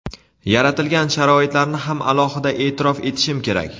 yaratilgan sharoitlarni ham alohida e’tirof etishim kerak.